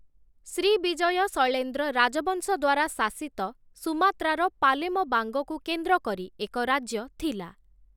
Srivijaya Sailendra ରାଜବଂଶ ଦ୍ୱାରା ଶାସିତ ସୁମାତ୍ରାର ପାଲେମବାଙ୍ଗକୁ କେନ୍ଦ୍ର କରି ଏକ ରାଜ୍ୟ ଥିଲା ।